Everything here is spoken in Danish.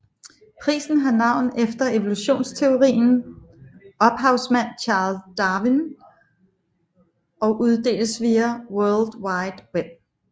Prisen har navn efter evolutionsteorien ophavsmand Charles Darwin og uddeles via World Wide Web